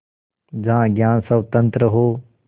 जहाँ ज्ञान स्वतन्त्र हो